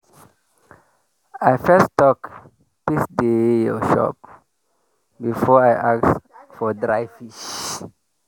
i first talk “peace dey your shop” before i ask for dry fish.